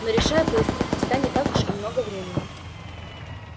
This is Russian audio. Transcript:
но решай быстро у тебя не так уж и много времени